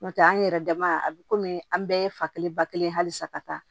N'o tɛ an yɛrɛ dama a bi komi an bɛɛ ye fa kelen ba kelen hali sa ka taa